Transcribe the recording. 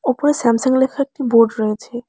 ওপরে স্যামসাং লেখা একটি বোর্ড রয়েছে।